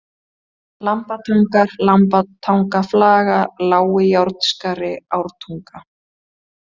Lambatangar, Lambatangaflaga, Lági-Járnskari, Ártunga